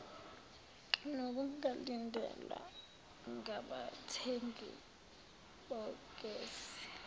nokungalindelwa ngabathengi bogesi